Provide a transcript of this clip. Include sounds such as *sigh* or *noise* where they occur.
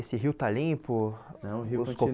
Esse rio está limpo, *unintelligible*